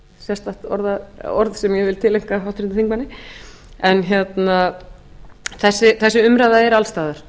sérstakt orð sem ég vil tileinka háttvirtum þingmanni en þessi umræða er alls staðar